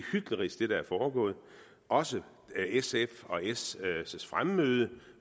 hyklerisk også sfs og s’s fremmøde